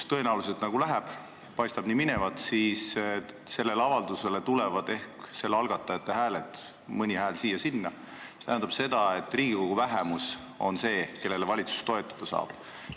Tõenäoliselt läheb nii, et sellele avaldusele tulevad õhtuks algatajate hääled, mõni hääl siia-sinna, mis tähendab seda, et Riigikogu vähemus on see, kellele valitsus toetuda saab.